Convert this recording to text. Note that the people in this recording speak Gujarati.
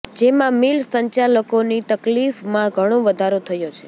જેમાં મિલ સંચાલકોની તકલીફમાં ઘણો વધારો થયો છે